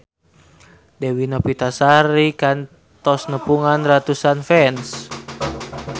Dewi Novitasari kantos nepungan ratusan fans